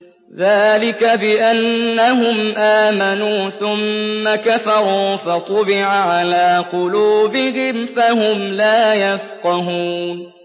ذَٰلِكَ بِأَنَّهُمْ آمَنُوا ثُمَّ كَفَرُوا فَطُبِعَ عَلَىٰ قُلُوبِهِمْ فَهُمْ لَا يَفْقَهُونَ